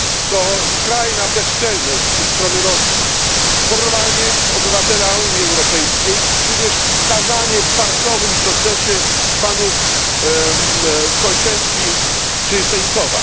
To skrajna bezczelność ze strony Rosji porwanie obywatela Unii Europejskiej, tudzież skazanie w farsowym procesie panów Kolczenki i Sencowa.